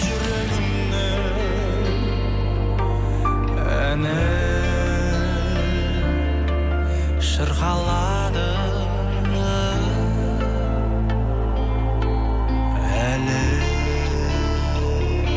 жүрегімнің әні шырқалады әлі